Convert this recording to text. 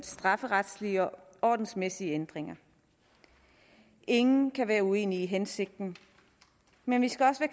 strafferetlige og ordensmæssige ændringer ingen kan være uenige i hensigten men vi skal også